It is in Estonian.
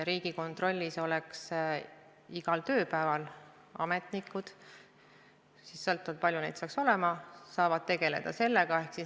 Riigikontrollis käiks see töö igal tööpäeval, ametnikud – sõltuvalt sellest, kui palju neid peaks olema – saavad sellega tegeleda.